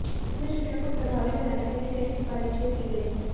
इसमें शिक्षा को प्रभावी बनाने के लिए कई सिफारिशें की गई हैं